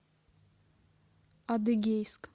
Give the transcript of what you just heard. адыгейск